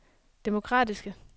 demokratiske